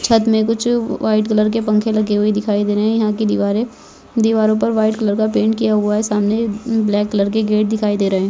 छत में कुछ व्हाइट कलर के पंखे लगे हुआ दिखाई दे रहा है यह की दीवार दीवारो पर व्हाइट कलर का पैंट किया हुआ है सामने ब्लैक कलर के गेट दिखाई दे रहे है।